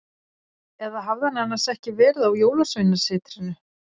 Eða hafði hann annars ekki verið á Jólasveinasetrinu?